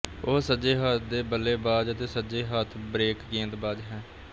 ਉਹ ਸੱਜੇ ਹੱਥ ਦੇ ਬੱਲੇਬਾਜ਼ ਅਤੇ ਸੱਜੇ ਹੱਥ ਬ੍ਰੇਕ ਗੇਂਦਬਾਜ਼ ਹੈ